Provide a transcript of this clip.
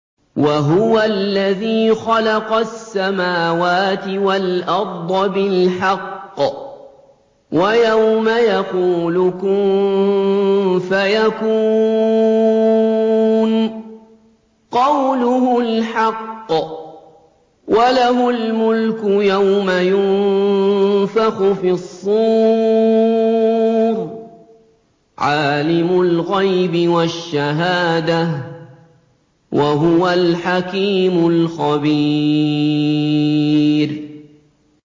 وَهُوَ الَّذِي خَلَقَ السَّمَاوَاتِ وَالْأَرْضَ بِالْحَقِّ ۖ وَيَوْمَ يَقُولُ كُن فَيَكُونُ ۚ قَوْلُهُ الْحَقُّ ۚ وَلَهُ الْمُلْكُ يَوْمَ يُنفَخُ فِي الصُّورِ ۚ عَالِمُ الْغَيْبِ وَالشَّهَادَةِ ۚ وَهُوَ الْحَكِيمُ الْخَبِيرُ